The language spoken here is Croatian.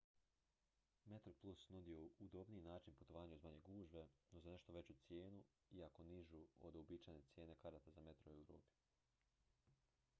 metroplus nudi udobniji način putovanja uz manje gužve no za nešto veću cijenu iako nižu od uobičajene cijene karata za metro u europi